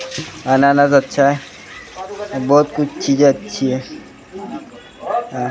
अनानास अच्छा हैं बहुत कुछ चीज़े अच्छी हैं अ।